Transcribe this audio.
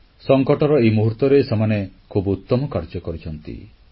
ସଙ୍କଟର ଏହି ମୁହୂର୍ତ୍ତରେ ସେମାନେ ଖୁବ୍ ଉତ୍ତମ କାର୍ଯ୍ୟ କରିଛନ୍ତି